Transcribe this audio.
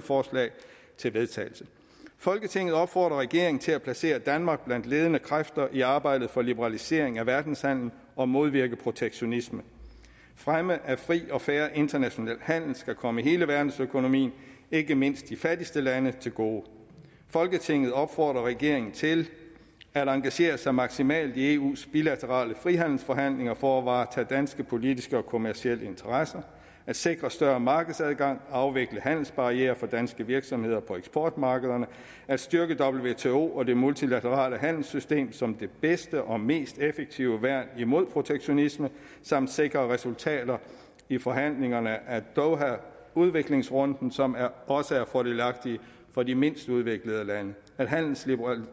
forslag til vedtagelse folketinget opfordrer regeringen til at placere danmark blandt ledende kræfter i arbejdet for liberalisering af verdenshandelen og modvirke protektionisme fremme af fri og fair international handel skal komme hele verdensøkonomien ikke mindst de fattigste lande til gode folketinget opfordrer regeringen til at engagere sig maksimalt i eus bilaterale frihandelsforhandlinger for at varetage danske politiske og kommercielle interesser sikre større markedsadgang og afvikle handelsbarrierer for danske virksomheder på eksportmarkederne styrke wto og det multilaterale handelssystem som det bedste og mest effektive værn imod protektionisme samt sikre resultater i forhandlingerne af doha udviklingsrunden som også er fordelagtige for de mindst udviklede lande